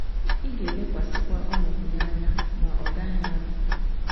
Ị ga-elekwasịkwa ọnọdụ ya anya, ma ọ gaghị anọ.